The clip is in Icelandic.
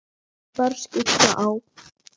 Ekki bar skugga á.